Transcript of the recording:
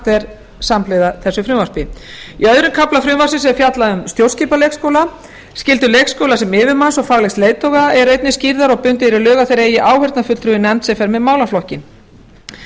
er samhliða þessu frumvarpi í öðrum kafla frumvarpsins er fjallað um stjórnskipan leikskóla skyldur leikskóla sem yfirmanns og faglegs leiðtoga eru einnig skýrðar og bundið er í lög að þeir eigi áheyrnarfulltrúa í nefnd sem fer með málaflokkinn